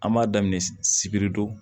An b'a daminɛ sibiri don